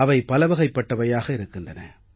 அவை பலவகைப்பட்டவையாக இருக்கின்றன